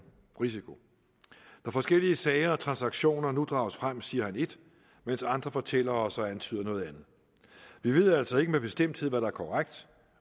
risiko når forskellige sager og transaktioner nu drages frem siger han ét mens andre fortæller os og antyder noget andet vi ved altså ikke med bestemthed hvad der er korrekt